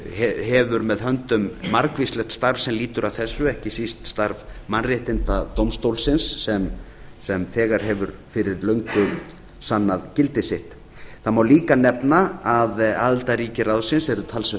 hefur með höndum margvíslegt starf sem lýtur að þessu ekki síst starf mannréttindadómstólsins sem þegar hefur fyrir löngu sannað gildi sitt það má líka nefna að aðildarríki ráðsins eru talsvert